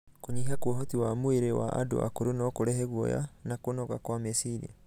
Kũnyiha kwa ũhoti wa mwĩrĩ wa andũ akũrũ no kũrehe guoya na kũnoga kwa meciria.